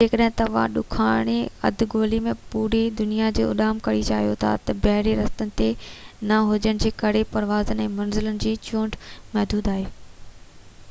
جيڪڏهن توهان ڏاکڻي اڌ گولي ۾ پوري دنيا جي اُڏام ڪرڻ چاهيو ٿا ته بحري رستن جي نه هجڻ جي ڪري پروازن ۽ منزلن جي چونڊ محدود آهي